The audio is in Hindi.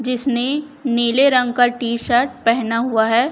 जिसने नीले रंग का टी शर्ट पहना हुआ है।